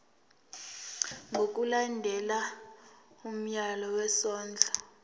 ngokulandela umyalelo wesondlo